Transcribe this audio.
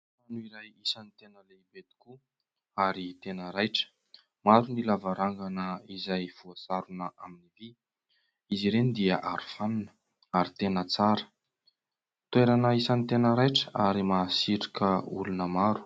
Trano iray isany tena lehibe tokoa ary tena raitra. Maro ny lavarangana izay voasarona amin'ny vy ; izy ireny dia aro fanina ary tena tsara. Toerana isan'ny tena raitra ary mahasarika olona maro.